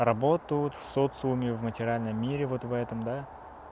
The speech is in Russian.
работу вот в социуме в материальном мире вот в этом да